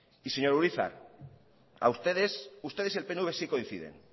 y señor urizar a ustedes ustedes y el pnv sí coinciden